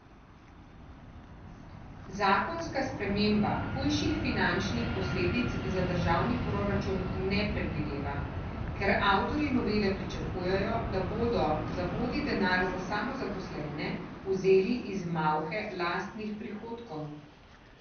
Zakonska sprememba hujših finančnih posledic za državni proračun ne predvideva, ker avtorji novele pričakujejo, da bodo zavodi denar za samozaposlene vzeli iz malhe lastnih prihodkov.